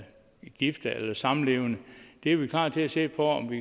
gift eller samlevende det er vi klar til at se på om vi